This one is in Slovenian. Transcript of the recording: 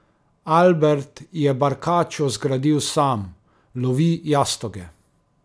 Albert je barkačo zgradil sam, lovi jastoge.